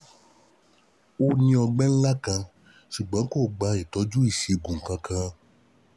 Ó ní ọgbẹ́ ńlá kan, ṣùgbọ́n kò gba ìtọ́jú ìṣègùn kankan